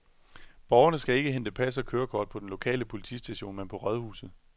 Borgerne skal ikke hente pas og kørekort på den lokale politistation, men på rådhuset.